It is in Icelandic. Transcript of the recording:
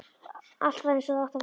Allt var eins og það átti að vera.